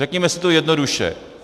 Řekněme si to jednoduše.